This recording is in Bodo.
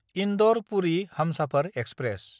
इन्दर–पुरि हमसाफार एक्सप्रेस